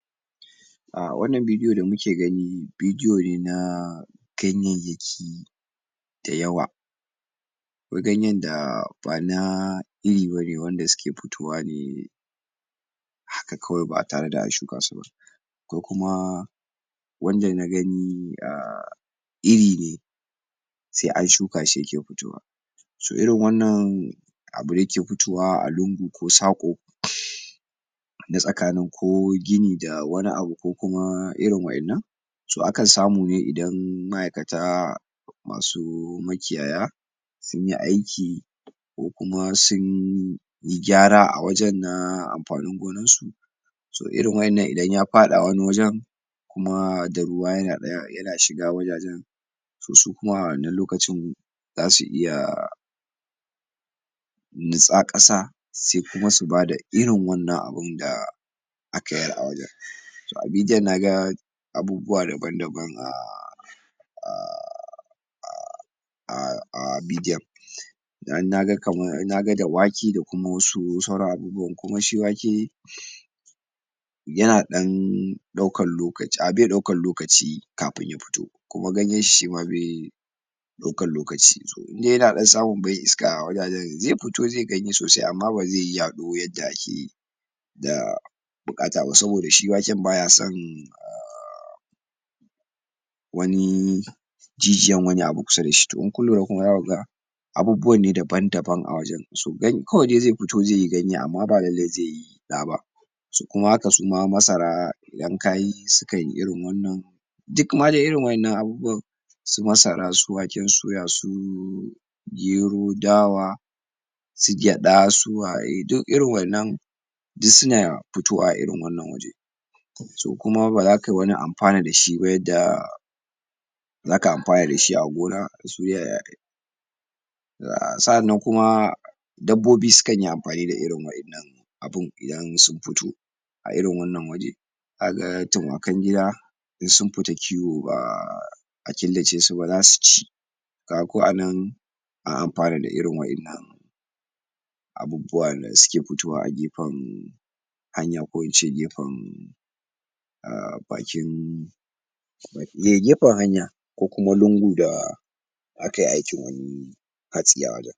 a wannan vedio da muke gani vedio ne na ganyayyaki da yawa akwai ganyin da bana iri bane wanda suke futowa ne haka kawai ba tare da an shuka su ba ko kuma wanda na gani um iri ne sai an shuka shi yake futowa so irin wannan abu da yake futowa a lungu ko saƙo um na tsakanin ko gini da wani abu ko kuma irin waƴannan so akan samu ne idan ma'aikata masu makiyaya sunyi aiki ko kuma sunyi gyara a wajen na amfanin gonan su to irin waƴannan idan ya faɗa wani wajen kuma da ruwa yana shiga wajajen to su kuma a wannan lokacin zasu iya um nitsa ƙasa sai kuma su bada irin wannan abun da aka yar a wajen to a bidiyan naga abubuwa daban daban a um um um um um bidiyon dan naga kaman naga da wake da kuma wasu sauran abubuwan kuma shi wake yana ɗan ɗaukan lokaci a be ɗaukan lokaci kafin ya fito kuma ganyen shi shima be ɗaukan lokaci to indai yana ɗan samu bai iska a wajajen ze futo ze ganye sosai amma bazeyi yaɗo yadda ake da buƙata ba saboda shi waken baya son um] wani jijiyan wani abu kusa dashi to in kun lura kuma zaku ga abubuwa ne daban daban a wajen so gan kawai dai ze futo zeyi ganye amma ba lallai zeyi ɗa ba so kuma haka suma masara idan kayi sukan yi irin wannan duk ma dai irin waƴannan abubuwan su masara su waken suya su gero dawa su gyaɗa su waye duk irin waƴannan duk suna fitowa a irin wannan waje so kuma baza kai wani amfana dashi ba yadda zaka amfana dashi a gona su sa'an nan kuma dabbobi sukanyi amfani da irin wa'innan abun idan sun fito a irin wannan waje zaka ga tuma kan gida in sun fita kiwo ba um killa ce su ba zasu ci kaga ko anan an amfana da irin wa'innan abubuwan da suke futowa a gefan um hanya ko ince gefan um a bakin um gefan hanya ko kuma lungu da akai aikin hatsi a wajen